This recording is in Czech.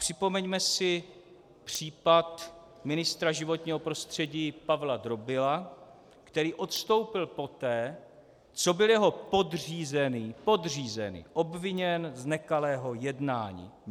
Připomeňme si případ ministra životního prostředí Pavla Drobila, který odstoupil poté, co byl jeho podřízený - podřízený! - obviněn z nekalého jednání.